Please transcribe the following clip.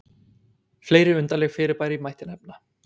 Fleiri undarleg fyrirbæri mætti nefna.